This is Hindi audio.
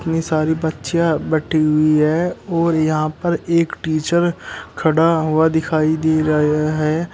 सारी बच्चियों बैठी हुई है और यहां पर एक टीचर खड़ा हुआ दिखाई दे रहा है।